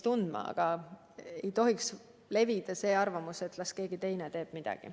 Aga ei tohiks levida seisukoht, et las keegi teine teeb midagi.